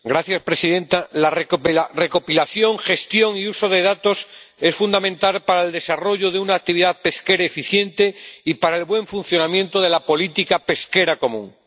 Señora presidenta, la recopilación, la gestión y el uso de los datos es fundamental para el desarrollo de una actividad pesquera eficiente y para el buen funcionamiento de la política pesquera común.